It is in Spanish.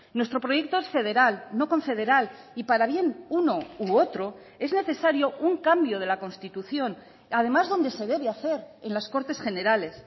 nuestro proyecto es federal no confederal y para bien uno u otro es necesario un cambio de la constitución además donde se debe hacer en las cortes generales